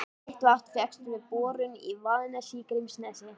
Heitt vatn fékkst við borun í Vaðnesi í Grímsnesi.